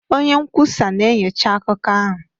Onye nkwusa na-enyocha akụkọ ahụ